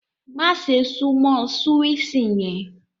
Màṣẹ̀ sùnmọ súwíṣì yen!